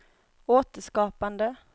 återskapande